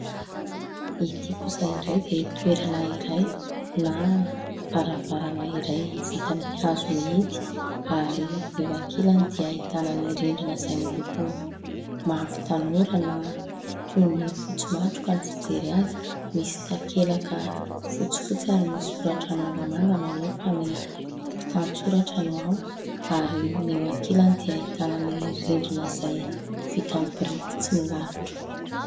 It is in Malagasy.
Ity kosa indray dia toerana iray na varavarana iray vita amin'ny hazo mihidy ary eo ankilany dia ahitana ny rindina izay miloko mavo tanora na toy ny fotsy matroka ny fijery azy. Misy takelaka fotsifotsy ary misy soratra mangamanga maneho fa ny mpitantsoratra no ao, ary ny eo ankilany dia ahitana ny rindrina izay vita amin'ny biriky tsy milalotra.